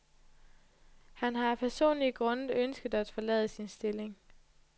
Han har af personlige grunde ønsket at forlade sin stilling.